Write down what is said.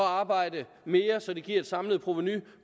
arbejde mere så det giver et samlet provenu